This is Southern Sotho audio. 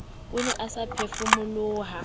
o ne a sa phefumoloha